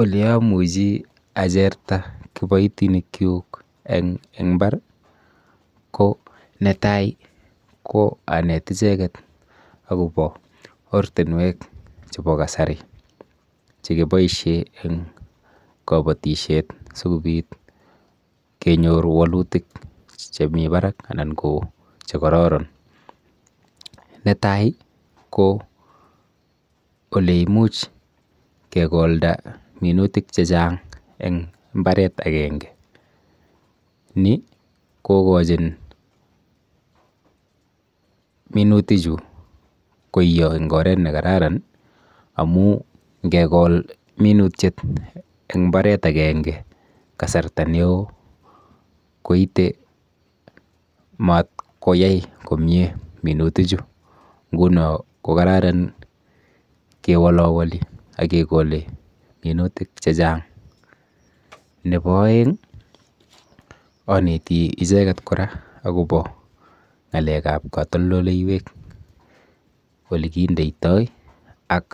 Oleamuchi acherta kiboitinikchuk eng mbar ko netai ko anet icheket akopo ortinwek chepo kasari chekiboishe eng kabatishet sikobit kenyor wolutik chemi barak anan ko chekororon. Netai ko oleimuch kekolda minutik chechang eng mbaret akenge. Ni kokochin minutichu koiyo eng oret nekararan amu nkekol minutiet eng mbaret ekenge kasarta neo koite mat koyai komie minutichu nguno kokararan kewolowoli akekole minutik chechang. Nepo oeng aneti icheket kora akopo ng'alekap katoldoleiwek, olekindeitoi ak